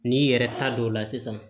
N'i yɛrɛ ta don o la sisan